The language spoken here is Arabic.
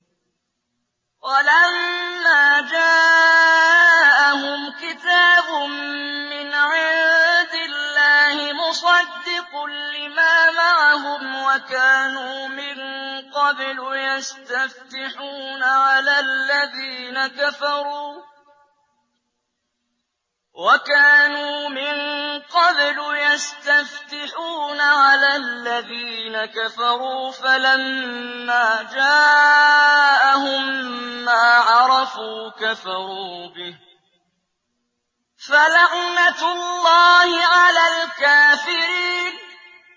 وَلَمَّا جَاءَهُمْ كِتَابٌ مِّنْ عِندِ اللَّهِ مُصَدِّقٌ لِّمَا مَعَهُمْ وَكَانُوا مِن قَبْلُ يَسْتَفْتِحُونَ عَلَى الَّذِينَ كَفَرُوا فَلَمَّا جَاءَهُم مَّا عَرَفُوا كَفَرُوا بِهِ ۚ فَلَعْنَةُ اللَّهِ عَلَى الْكَافِرِينَ